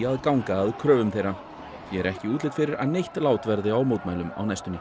að ganga að kröfum þeirra því er ekki útlit fyrir að neitt lát verði á mótmælum á næstunni